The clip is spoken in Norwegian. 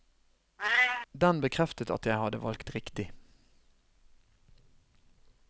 Den bekreftet at jeg hadde valgt riktig.